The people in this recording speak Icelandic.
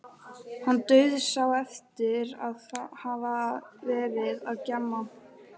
Hann dauðsá eftir að hafa verið að gjamma.